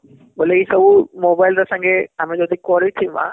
ବୋଲେ ଏଇ ସବୁ mobile ର ସଙ୍ଗେ ଆମେ ଯଦି କରିଥିମା